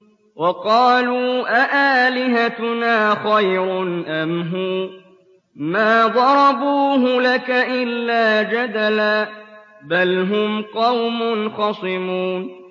وَقَالُوا أَآلِهَتُنَا خَيْرٌ أَمْ هُوَ ۚ مَا ضَرَبُوهُ لَكَ إِلَّا جَدَلًا ۚ بَلْ هُمْ قَوْمٌ خَصِمُونَ